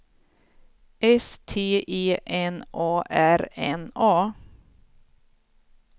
S T E N A R N A